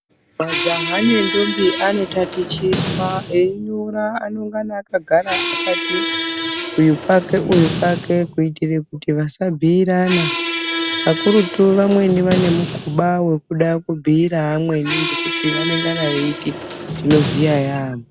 Majaha nendombi anotatichiswa, einyora anongana akagara akati uyu pake uyu pake kuitire kuti vasabhuirana kakurutu vamweni vanemukhuba wekuda kubhuyira amweni ngekuti vanongana vechiti tinoziya yaamho.